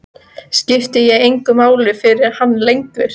Skipti ég engu máli fyrir hann lengur?